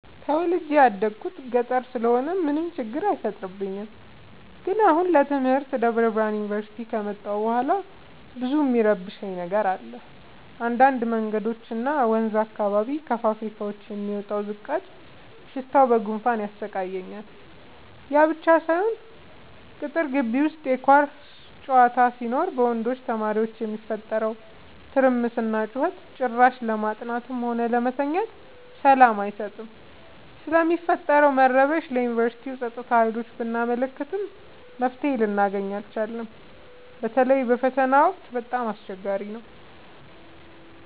ተወልጄ የደኩት ገጠር ስለሆነ ምንም ችግር አይፈጠርም። ግን አሁን ለትምህርት ደብረብርሃን ዮንቨርሲቲ ከመጣሁ በኋላ ብዙ እሚረብሽ ነገር አለ እንዳድ መንገዶች እና ወንዝ አካባቢ ከፋብካዎች የሚወጣው ዝቃጭ ሽታው በጉንፋን ያሰቃያል። ያብቻ ሳይሆን ቅጥር ጊቢ ውስጥ የኳስ ጨዋታ ሲኖር በወንድ ተማሪዎች የሚፈጠረው ትርምስና ጩኸት ጭራሽ ለማጥናትም ሆነ ለመተኛት ሰላም አይሰጥም። ስለሚፈጠረው መረበሽ ለዮንቨርስቲው ፀጥታ ሀይሎች ብናመለክትም መፍትሔ ልናገኝ አልቻልም። በተለይ በፈተና ወቅት በጣም አስቸገሪ ነው።